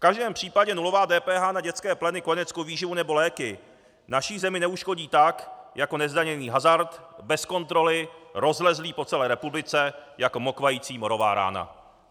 V každém případě nulová DPH na dětské pleny, kojeneckou výživu nebo léky naší zemi neuškodí tak jako nezdaněný hazard bez kontroly, rozlezlý po celé republice jako mokvající morová rána.